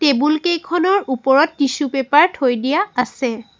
Table কেইখনৰ ওপৰত tissue paper থৈ দিয়া আছে।